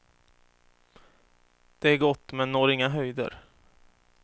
Det är gott, men når inga höjder.